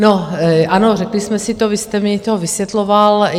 No, ano, řekli jsme si to, vy jste mi to vysvětloval.